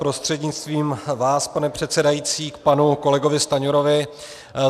Prostřednictvím vás, pane předsedající, k panu kolegovi Stanjurovi.